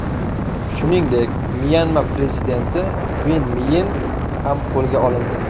Shuningdek, Myanma prezidenti Vin Myin ham qo‘lga olindi.